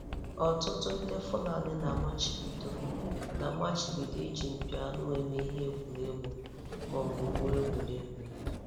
Ọtụtụ ndị Fulani na-amachibido na-amachibido iji mpi anụ eme ihe egwuregwu ma ọ bụ gwụo egwuregwu.